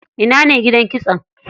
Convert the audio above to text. Ina ne gidan kitson?